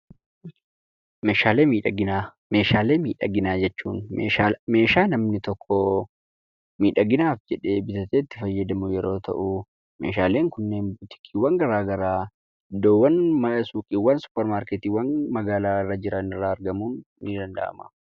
Meeshaalee miidhaginaa jechuun meeshaa namni tokko miidhaginaaf jedhee bitatee itti fayyadamu yeroo ta'u, meeshaaleen kunneen buutikiiwwan garagaraa, iddoowwan mana suuqiiwwan yookaan suppar maarkeettiiwwan magaalaa irra jiran irraa argamuun ni danda'ama,